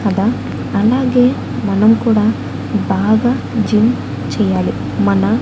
కదా అలాగే మనం కూడా బాగా జిమ్ చెయ్యాలి మన--